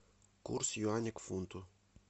курс юаня к фунту